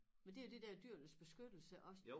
Men det jo de der Dyrenes Beskyttelse også